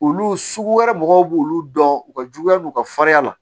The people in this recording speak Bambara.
Olu sugu wɛrɛ mɔgɔw b'olu dɔn u ka juguya n'u ka fariya la